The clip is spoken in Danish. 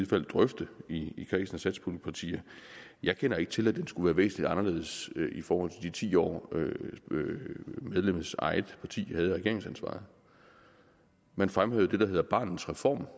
fald drøfte i kredsen af satspuljepartier jeg kender ikke til at den skulle være væsentlig anderledes i forhold til de ti år hvor medlemmets eget parti havde regeringsansvaret man fremhævede det der hedder barnets reform